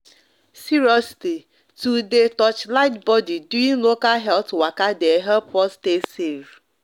seriously to de torchlight body during local health waka de help us stay safe